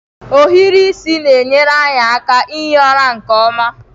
Ohiri isi na-enyere anyị aka ihi ụra nke ọma.